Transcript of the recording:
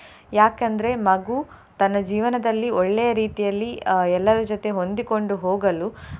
ಯಾಕಂದ್ರೆ ಮಗು ತನ್ನ ಜೀವನದಲ್ಲಿ ಒಳ್ಳೆಯ ರೀತಿಯಲ್ಲಿ ಅಹ್ ಎಲ್ಲರ ಜೊತೆ ಹೊಂದಿಕೊಂಡು ಹೋಗಲು.